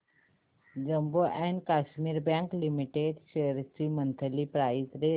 Jammu and Kashmir bank limited shares ची monthly price range